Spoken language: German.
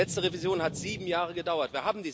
Die letzte Revision hat sieben Jahre gedauert.